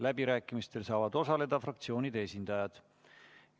Läbirääkimistel saavad osaleda fraktsioonide esindajad.